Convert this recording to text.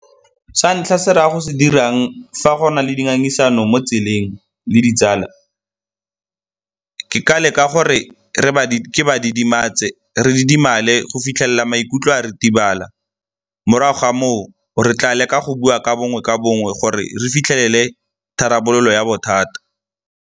Sa ntlha, se re a go se dirang fa go na le dingangisano mo tseleng le ditsala, ke ka leka gore ke ba didimetse, re didimale go fitlhelela maikutlo a ritibala. Morago ga moo, re tla leka go bua ka bongwe ka bongwe gore re fitlhelele tharabololo ya bothata.